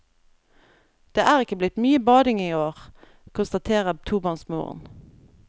Det er ikke blitt mye bading i år, konstaterer tobarnsmoren.